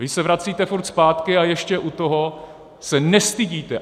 Vy se vracíte furt zpátky a ještě u toho se nestydíte!